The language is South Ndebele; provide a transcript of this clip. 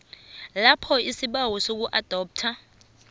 lapho isibawo sokuadoptha